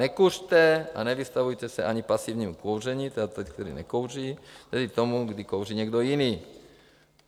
Nekuřte a nevystavujte se ani pasivnímu kouření, tedy tomu, kdy kouří někdo jiný.